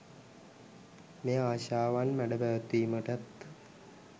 මෙය ආශාවන් මැඩ පැවැත්වීමටත්